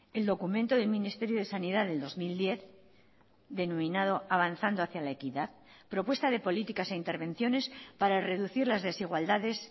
el documento del ministerio de sanidad del dos mil diez denominado avanzando hacia la equidad propuesta de políticas e intervenciones para reducir las desigualdades